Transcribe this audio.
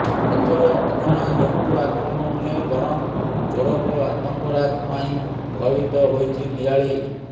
ଏଥର ଅଜଣା ଜନ୍ତୁ ଆକ୍ରମଣ ନୁହେଁ ବରଂ ଚୋରଙ୍କ ଆତଙ୍କରାଜ ପାଇଁ ଭୟଭୀତ ହୋଇଛି ନିଆଳି